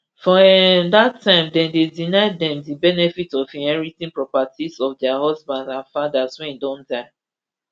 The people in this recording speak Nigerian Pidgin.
for um dat time dem dey deny dem di benefit of inheriting properties of dia husbands and fathers wey don die